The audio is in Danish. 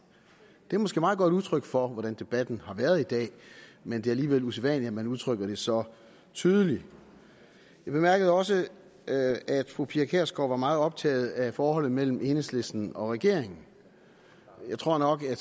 det er måske et meget godt udtryk for hvordan debatten har været i dag men det er alligevel usædvanligt at man udtrykker det så tydeligt jeg bemærkede også at fru pia kjærsgaard var meget optaget af forholdet mellem enhedslisten og regeringen jeg tror nok at